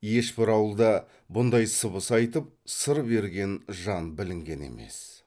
ешбір ауылда бұндай сыбыс айтып сыр берген жан білінген емес